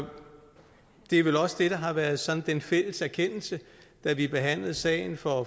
det er vel også det der har været sådan den fælles erkendelse da vi behandlede sagen for